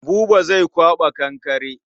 Buba zai kwaɓa kankare.